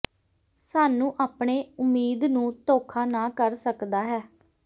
ਸਾਨੂੰ ਆਪਣੇ ਉਮੀਦ ਨੂੰ ਧੋਖਾ ਨਾ ਕਰ ਸਕਦਾ ਹੈ